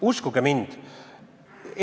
Uskuge mind!